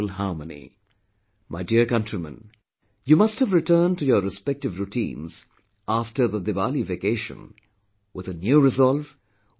My dear countrymen, you must've returned to your respective routines after the Diwali vacation, with a new resolve, with a new determination